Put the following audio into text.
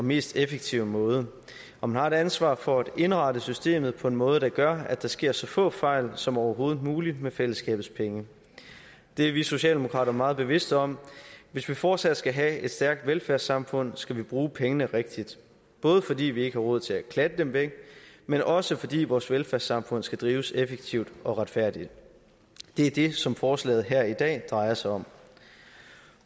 og mest effektive måde og man har et ansvar for at indrette systemet på en måde der gør at der sker så få fejl som overhovedet muligt med fællesskabets penge det er vi socialdemokrater meget bevidste om hvis vi fortsat skal have et stærkt velfærdssamfund skal vi bruge pengene rigtigt både fordi vi ikke har råd til at klatte dem væk men også fordi vores velfærdssamfund skal drives effektivt og retfærdigt det er det som forslaget her i dag drejer sig om